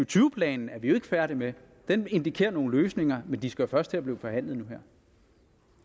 tyve planen er vi jo ikke færdig med den indikerer nogle løsninger men de skal først til at blive forhandlet